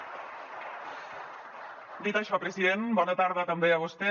dit això president bona tarda també a vostè